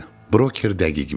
Broker dəqiq bilirdi.